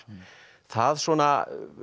það svona